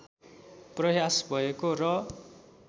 प्रयास भएको र